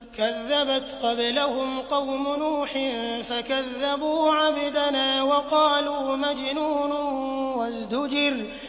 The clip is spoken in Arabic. ۞ كَذَّبَتْ قَبْلَهُمْ قَوْمُ نُوحٍ فَكَذَّبُوا عَبْدَنَا وَقَالُوا مَجْنُونٌ وَازْدُجِرَ